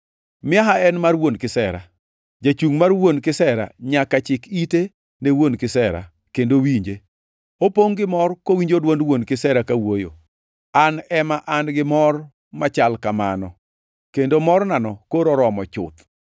Miaha en mar wuon kisera. Jachungʼ mar wuon kisera nyaka chik ite ne wuon kisera kendo winje; opongʼ gi mor kowinjo dwond wuon kisera kawuoyo. An ema an gi mor machal kamano, kendo mornano koro oromo chuth.